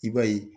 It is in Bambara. I b'a ye